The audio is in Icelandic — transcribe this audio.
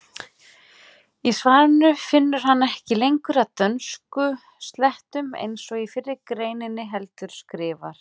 Í svarinu finnur hann ekki lengur að dönskuslettum eins og í fyrri greininni heldur skrifar: